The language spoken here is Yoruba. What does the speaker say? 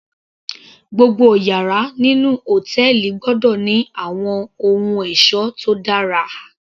Gbogbo yàrá nínú hòtẹ́ẹ̀lì gbọ́dọ̀ ní àwọn ohun ẹ̀ṣọ́ tó dára